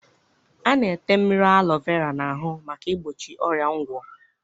A na-ete mmiri alọ vera n'ahụ maka igbochi ọrịa ngwọ.